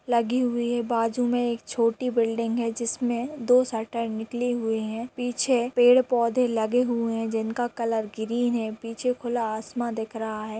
लगी हुयी है बाजू में एक छोटी बिलिंग है जिसमे दो शटर निकली हुयी है पीछे पेड़ पोधे लगे हुए है जिनका कलर ग्रीन है पीछे खुला आसमान दिख रहा है।